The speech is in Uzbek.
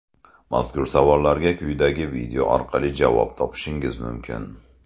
Mazkur savollarga quyidagi video orqali javob topishingiz mumkin.